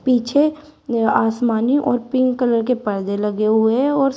पीछे आसमानी और पिंक कलर के पर्दे लगे हुए है और सा--